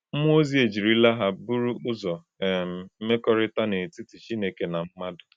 Mmụọ ozi ejirila ha bụrụ ụzọ um mmekọrịta n’etiti Chineke na mmadụ.